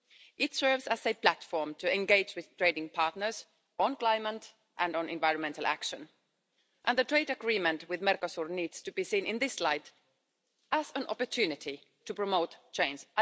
It serves as a platform to engage with trading partners on climate and on environmental action, and the trade agreement with Mercosur needs to be seen in this light as an opportunity to promote change.